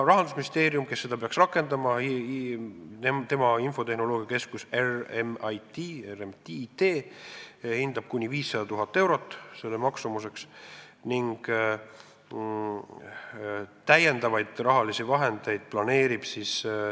Rahandusministeerium, kes peaks seda rakendama, tema infotehnoloogiakeskus hindab selle maksumuseks kuni 500 000 eurot.